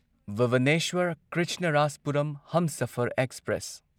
Bhubaneswar Krishnarajapuram Humsafar express